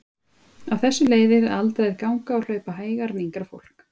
Af þessu leiðir að aldraðir ganga og hlaupa hægar en yngra fólk.